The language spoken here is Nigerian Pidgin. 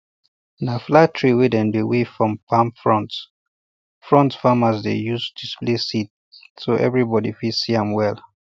na flat tray wey dem dey weave from palm fronds fronds farmers dey use display seeds so everybody fit see am well